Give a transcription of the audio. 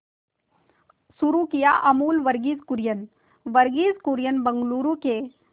शुरू किया अमूल वर्गीज कुरियन वर्गीज कुरियन बंगलूरू के